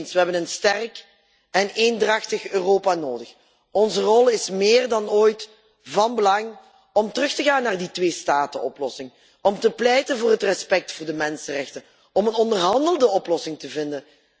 Ik ben het met u eens, we hebben een sterk en eendrachtig Europa nodig. Onze rol is meer dan ooit van belang om terug te gaan naar de tweestatenoplossing, om te pleiten voor respect voor de mensenrechten, om een onderhandelde oplossing te vinden.